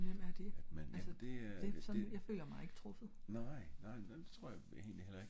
men hvem er de? altså sådan jeg føler mig ikke truffet?